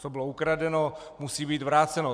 Co bylo ukradeno, musí být vráceno.